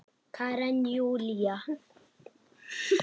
Karen Júlía.